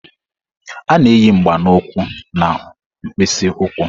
A na-eyi mgba na ukwu na mkpịsị ụkwụ.